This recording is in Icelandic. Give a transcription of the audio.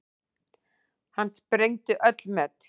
Hann sprengdi öll met.